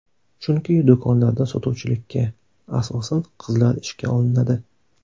Chunki do‘konlarda sotuvchilikka, asosan, qizlar ishga olinadi.